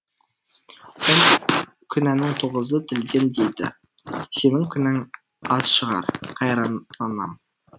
он күнәнің тоғызы тілден дейді сенің күнәң аз шығар қайран анам